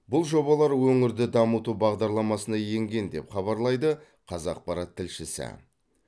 бұл жобалар өңірді дамыту бағдарламасына енген деп хабарлайды қазақпарат тілшісі